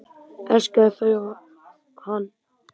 Elskaði þau og þau hann.